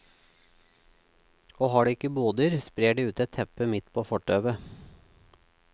Og har de ikke boder, sprer de ut et teppe midt på fortauet.